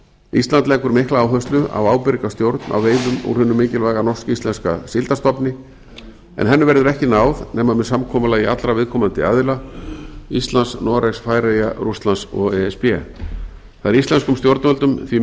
ísland leggur mikla áherslu á ábyrga stjórn á veiðum úr hinum mikilvæga norsk íslenska síldarstofni en henni verður ekki náð nema með samkomulagi allra viðkomandi aðila íslands noregs færeyja rússlands og e s b það er íslenskum stjórnvöldum því